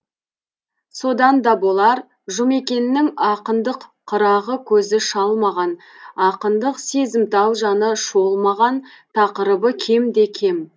содан да болар жұмекеннің ақындық қырағы көзі шалмаған ақындық сезімтал жаны шолмаған тақырыбы кемде кем